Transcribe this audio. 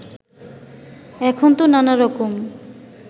এখনতো নানা রকম